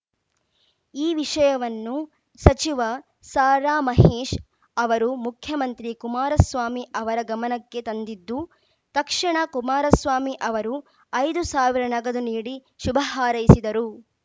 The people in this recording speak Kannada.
ಈ ವಿಷಯವನ್ನು ಸಚಿವ ಸಾರಾಮಹೇಶ್‌ ಅವರು ಮುಖ್ಯಮಂತ್ರಿ ಕುಮಾರಸ್ವಾಮಿ ಅವರ ಗಮನಕ್ಕೆ ತಂದಿದ್ದು ತಕ್ಷಣ ಕುಮಾರಸ್ವಾಮಿ ಅವರು ಐದು ಸಾವಿರ ನಗದು ನೀಡಿ ಶುಭ ಹಾರೈಸಿದ್ದರು